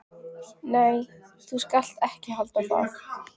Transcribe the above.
Nei, þú skalt ekki halda það!